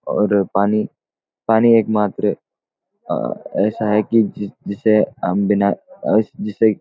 और पानी पानी एक मात्र आ ऐसा है कि जी जी जिसे हम बिना आ जिसे